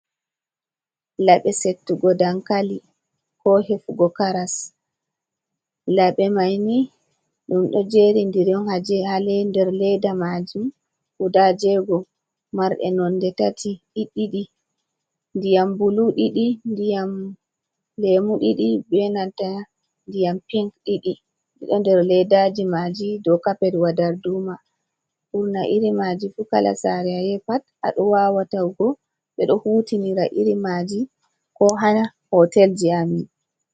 labe settugo dankali, ko hefugo karas, labe maini dum do jeri ndiri ha nder ledda majum, guda jego, marde nonde tati, diddidi, ndiyam bulu didi, ndiyam lemo didi, be nantan ndiyam pinc diɗi, ha nder leddaji maji.do kapet wa darduma, burna iri maji fu kala sare ayahi pat a do wawa tawugo, be do hutinira iri maji ko ha hotel ji amin.